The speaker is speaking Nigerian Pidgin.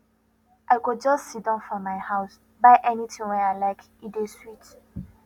i go just siddon for my house buy anytin wey i like e dey sweet